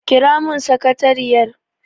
Kira mun sakariyar!